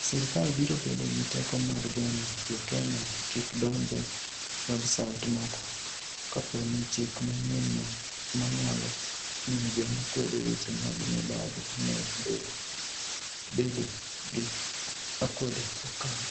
Sirkal biro bedo gi teko mar geng'o Jo-Kenya kik donj e websait moko kapo ni chik manyienno, ma nyalo miyo joma kwedo weche mag mibadhi omed bedo gi akwede, okalo.